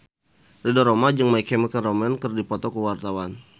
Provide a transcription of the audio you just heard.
Ridho Roma jeung My Chemical Romance keur dipoto ku wartawan